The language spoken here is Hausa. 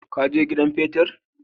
Ka je gidan petir?